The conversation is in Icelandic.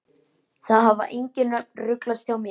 Það hafa engin nöfn ruglast hjá mér.